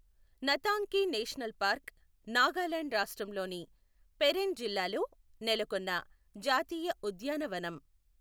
Ntangki national park Nagaland రాష్ట్రంలోని పెరెన్ జిల్లాలో నెలకొన్న జాతీయ ఉద్యానవనం.